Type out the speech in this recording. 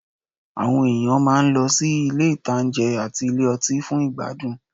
Àwọn èèyàn máa lọ sí àwọn ilé-ìtánjẹ àti ilé ọtí fún ìgbádùn